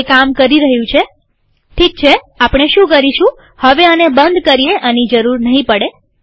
તે કામ કરી રહ્યું છેઠીક છેઆપણે શું કરીશુંહવે આને બંધ કરીએઆની જરૂર નહીં પડે